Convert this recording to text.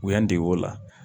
U y'an dege o la